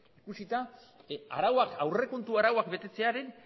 ikusita arauak aurrekontu arauak betetzearen